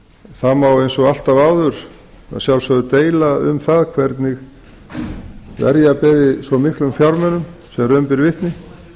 það má eins og alltaf áður að sjálfsögðu deila um það hvernig verja beri svo miklum fjármunum sem raun ber vitni